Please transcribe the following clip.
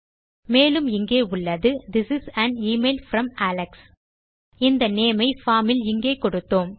மேலும் இங்கே உள்ளது this is an email from Alex இந்த நேம் ஐ பார்ம் இல் இங்கே கொடுத்தோம்